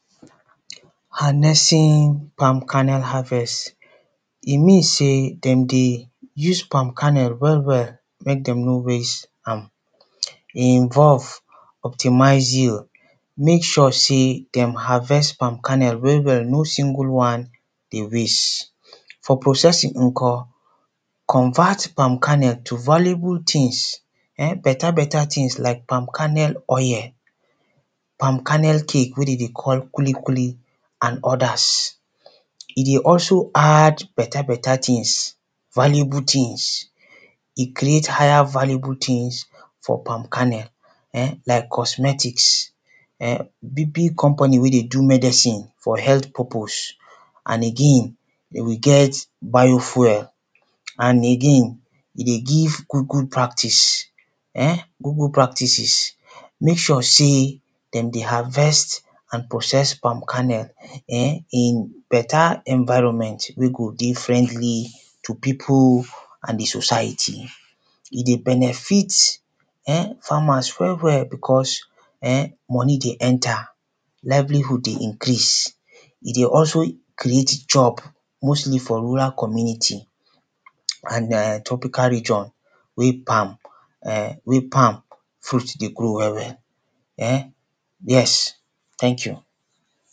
Earnesting palm karnel harvest, e mean sey dem dey use palm karnel well well make dem no waste am. E involve optimization make sure sey dem harvest palm kernel well well no single one dey waste. For processing nko, convert palm karnel to valuable tins better better tins like palm kernel oil, palm karnel cake wey dem dey call kuli kuli and others e dey also add better better tins valuable tins e creat higher valuable tins for palm karnel like cosmetics, big big company wey dey do medicine for health purpose and again e get biofuel and again e dey give good good practice [urn], good good practices make sure sey dem dey harvest and process palm karnel in better environment wey go differently to people and di society. E dey benefit farmers well well becos money dey enter, livelihood dey increase, e dey also create job mostly for rural community and tropical region wey palm fruit dey grow well well, yes tank you.